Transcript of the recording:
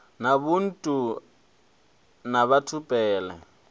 na ubuntu na batho pele